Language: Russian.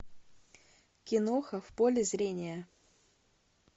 киноха в поле зрения